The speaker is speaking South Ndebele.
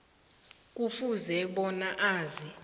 kufuze bona azi